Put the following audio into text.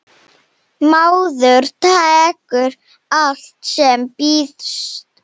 Maður tekur allt sem býðst.